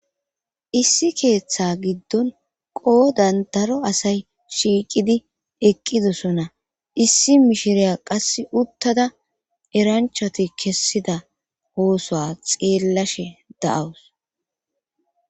issi keeththa giddon qoodan daro asay shiiqidi eqqidosona issi mishiriya qasse uttada eranchoti kessida hoosoa xeellashe da7awus